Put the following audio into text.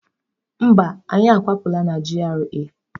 Mba, anyị akwapụla na GRA.